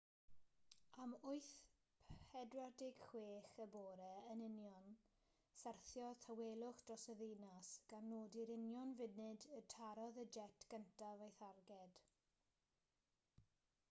am 8.46 am yn union syrthiodd tawelwch dros y ddinas gan nodi'r union funud y tarodd y jet gyntaf ei tharged